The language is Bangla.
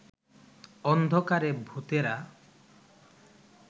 অন্ধকারে ভূতেরা